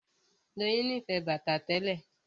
Doyin nífẹ̀ẹ́ bàtà tẹ́lẹ̀